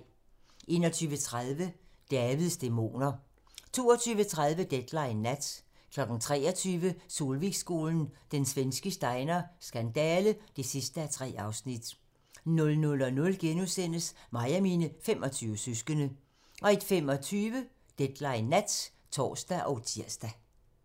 21:30: Davids dæmoner 22:30: Deadline nat 23:00: Solvikskolen – Den svenske Steiner skandale (3:3) 00:00: Mig og mine 25 søskende * 01:25: Deadline nat (tor og tir)